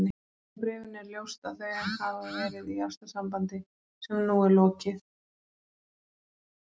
Af bréfinu er ljóst að þau hafa verið í ástarsambandi sem nú er lokið.